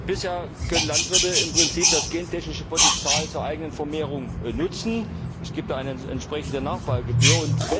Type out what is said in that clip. Bisher können Landwirte im Prinzip das gentechnische Potenzial zur eigenen Vermehrung nutzen, es gibt eine entsprechende Nachbaugebühr.